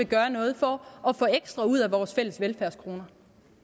gøre noget for at få ekstra ud af vores fælles velfærdskroner